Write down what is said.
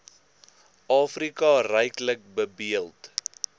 afrika ryklik bedeeld